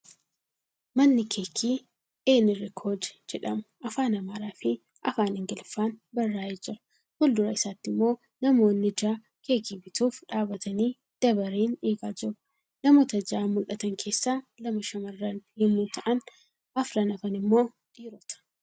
Mana keekii Eenirikooje jedhamu Afaan Amaaraafi Afaan Ingiliffaan barraa'ee jira. Fuuldura isaatti immoo namoonni ja'a keekii bituuf dhaabatanii dabareen eegaa jiru. Namoota ja'an mul'atan keessaa lama shamarran yemmuu ta'an arfan hafan immoo dhiirota.